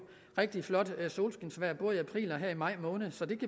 rigtig flot solskinsvejr både i april og i maj måned så det